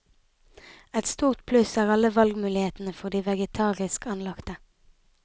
Et stort pluss er alle valgmulighetene for de vegetarisk anlagte.